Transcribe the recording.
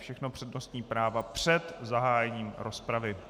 Všechno přednostní práva před zahájením rozpravy.